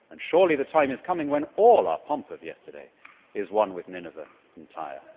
Surely the time is coming when all our pomp of yesterday will be one with Nineveh and Tyre?